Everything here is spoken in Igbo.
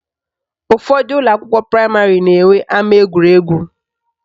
Ụfọdụ ụlọakwụkwọ praịmarị na-enwe ama egwuregwu